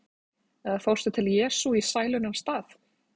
Eða fórstu til Jesú í sælunnar stað?